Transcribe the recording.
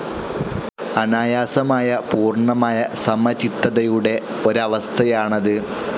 അനായാസമായ, പൂർണ്ണമായ സമചിത്തതയുടെ ഒരവസ്ഥയാണത്.